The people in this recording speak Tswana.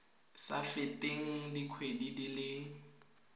sa feteng dikgwedi di le